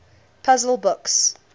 puzzle books